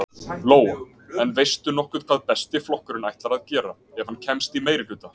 Lóa: En veistu nokkuð hvað Besti flokkurinn ætlar að gera, ef hann kemst í meirihluta?